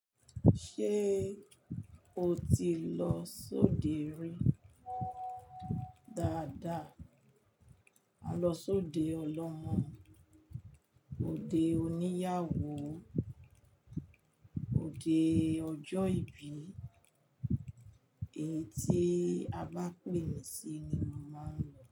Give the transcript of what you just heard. Ṣé o ti lọ sóde rí? Dada, A lọ sóde ọlọ́mọ, òde oníyàwó, òde ọjọ́ ìbí, èyí tí a bá pè mí sí ni mo màá n lọ.